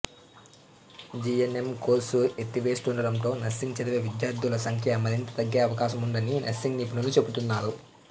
GNM course ఎత్తేస్తుండటంతో nursing చదివే విద్యార్థుల సంఖ్య మరింత తగ్గే అవకాశముందని నర్సింగ్ నిపుణులు చెబుతున్నారు